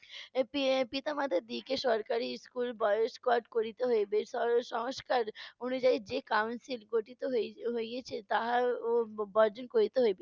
এর পি~ পিতা-মাতা দিকে সরকারী schoolboyscout করিতে হইবে। সর~ সংস্কার অনুযায়ী যে council গঠিত হই~ হইয়েছে তাহারও ব~ বর্জন করিতে হইবে।